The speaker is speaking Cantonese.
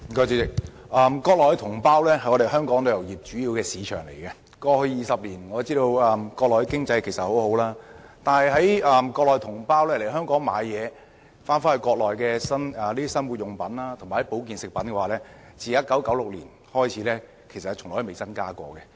主席，國內的同胞是香港旅遊業主要的吸納對象，我知道過去20年，國內的經濟發展蓬勃，國內同胞經常來港購買生活用品和保健食品，但他們可攜回內地的物品數量及價值上限，由1996年至今一直未有增加過。